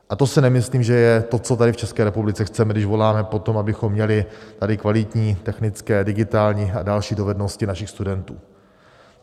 A to si nemyslím, že je to, co tady v České republice chceme, když voláme po tom, abychom měli tady kvalitní technické, digitální a další dovednosti našich studentů.